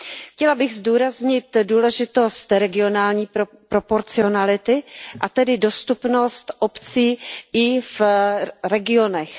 Chtěla bych zdůraznit důležitost regionální proporcionality a tedy dostupnost obcí i v regionech.